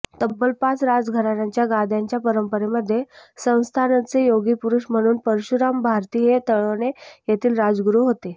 तब्बल पाच राजघराण्यांच्या गाद्यांच्या परंपरेमध्ये संस्थांनचे योगीपुरुष म्हणून परशुराम भारती हे तळवणे येथील राजगुरू होते